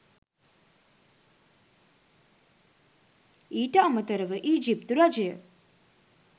ඊට අමතරව ඊජිප්තු රජය